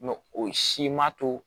Mɛ o si ma to